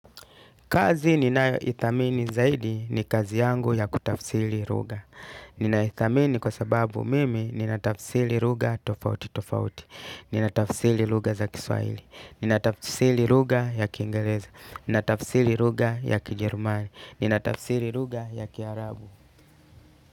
Kazi ninayo ithamini zaidi ni kazi yangu ya kutafsiri lugha. Nina ithamini kwa sababu mimi nina tafsiri lugha tofauti tofauti. Nina tafsili lugha za kiswaili. Nina tafsiri lugha ya kingereza. Nina tafsili lugha ya kijerumani. Nina tafsiri lugha ya kiarabu.